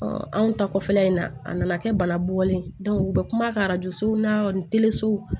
anw ta kɔfɛla in na a nana kɛ bana bɔlen ye u bɛ kuma ka na ni